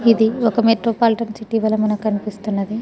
ఇది ఒక మెట్రోపాలిటన్సిటీ మనకి కనిపిస్తున్నది.